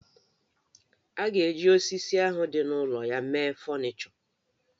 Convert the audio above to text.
A ga-eji osisi ahụ dị n'ụlọ ya mee fọnịchọ